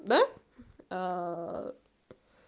да